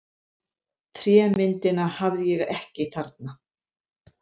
Trémyndina hafði ég ekki þarna.